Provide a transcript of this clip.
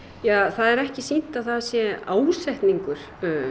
það er ekki sýnt að það sé ásetningur